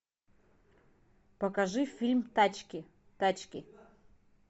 покажи фильм тачки тачки